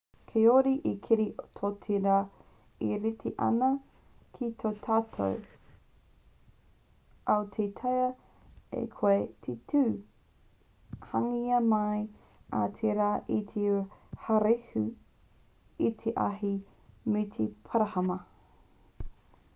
kāore he kiri tō te rā e rite ana ki tō tātou ao e taea ai koe te tū hangaia mai ai te rā i te haurehu i te ahi me te parahama